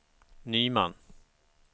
Nyman